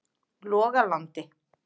Logalandi